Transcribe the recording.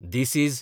this is